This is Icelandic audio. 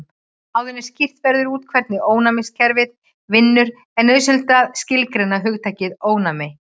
Áður en skýrt verður út hvernig ónæmiskerfið vinnur er nauðsynlegt að skilgreina hugtakið ónæmi.